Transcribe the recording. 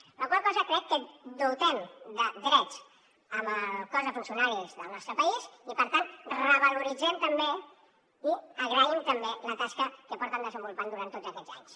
amb la qual cosa crec que dotem de drets el cos de funcionaris del nostre país i per tant revaloritzem també i agraïm la tasca que porten desenvolupant durant tots aquests anys